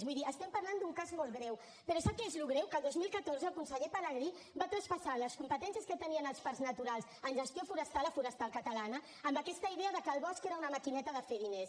vull dir estem parlant d’un cas molt greu però sap què és el que és greu que el dos mil catorze el conseller pelegrí va traspassar les competències que tenien els parcs naturals en gestió forestal a forestal catalana amb aquesta idea que el bosc era una maquineta de fer diners